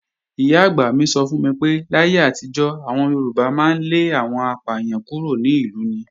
Ìyá-àgbà mi sọ fún mi pé, láyé àtijọ́, àwọn Yorùbá máa ń lé àwọn apàyàn kúrò ní ìlú ni.